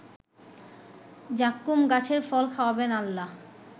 যাক্কুম গাছের ফল খাওয়াবেন আল্লাহ